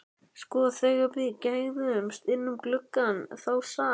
Sko, þegar við gægðumst inn um gluggann þá sat